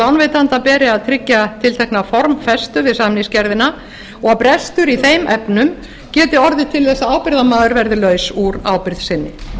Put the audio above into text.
lánveitanda beri að tryggja tiltekna formfestu við samningsgerðina og brestur í þeim efnum geti orðið til þess að ábyrgðarmaður verði laus úr ábyrgð sinni